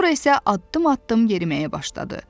Sonra isə addım-addım yeriməyə başladı.